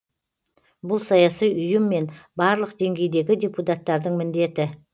бұл саяси ұйым мен барлық деңгейдегі депутаттардың міндеті